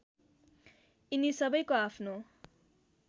यिनी सबैको आफ्नो